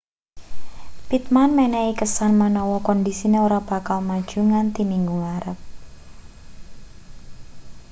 pittman menehi kesan menawa kondisine ora bakal maju nganthi minggu ngarep